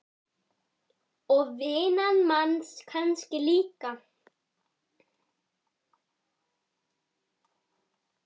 Og vinnan manns kannski líka.